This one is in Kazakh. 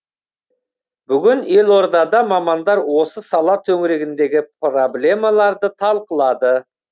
бүгін елордада мамандар осы сала төңірегіндегі проблемаларды талқылады